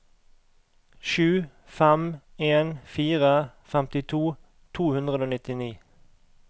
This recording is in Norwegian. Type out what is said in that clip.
sju fem en fire femtito to hundre og nittini